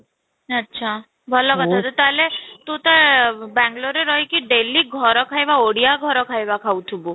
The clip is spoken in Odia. ଆଚ୍ଛା ଭଲ କଥା ତ ତାହେଲେ, ତୁ ତ ବାଙ୍ଗାଲୁରରେ ରହି କି daily ଘର ଖାଇବା ଓଡ଼ିଆ ଘର ଖାଇବା ଖାଉଥିବୁ?